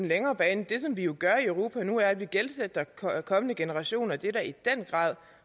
længere bane det som vi jo gør i europa nu er at vi gældsætter kommende generationer det er da i den grad